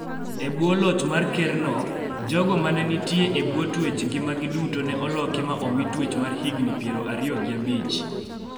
E bwo loch mar ker no, jogo ma ne nitie e bwo twech ngimagi duto ne oloki ma omi twech mar higni pier ariyo gi abich